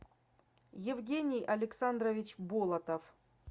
евгений александрович болотов